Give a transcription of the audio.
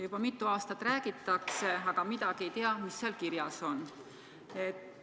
Juba mitu aastat on sellest räägitud, aga üldse ei tea, mis seal kirjas on.